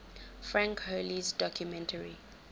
frank hurley's documentary